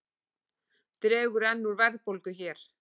Dregur enn úr verðbólgu hér